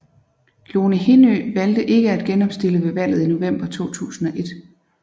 Lone Hindø valgte ikke at genopstille ved valget i november 2001